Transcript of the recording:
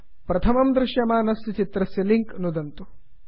प्रथमं दृश्यमानस्य चित्रस्य लिंक् नुदन्तु